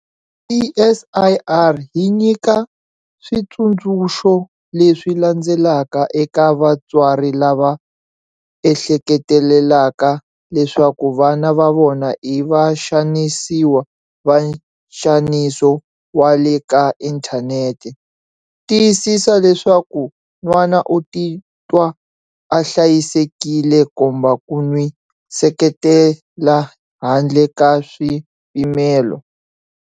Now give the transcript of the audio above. CSIR yi nyika switsundzuxo leswi landzelaka eka vatswari lava ehleketelelaka leswaku vana va vona i vaxanisiwa va nxaniso wa le ka inthanete- Tiyisisa leswaku n'wana u titwa a hlayisekile, komba ku n'wi seketela handle ka swipimelo.